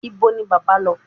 Ibo ni bábà lọ?